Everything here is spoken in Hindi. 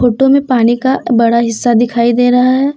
फोटो पानी का बड़ा हिस्सा दिखाई दे रहा है।